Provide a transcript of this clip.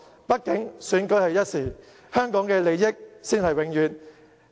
畢竟，選舉是一時的，香港的利益才是永遠。